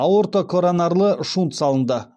аортокоронарлы шунт салынды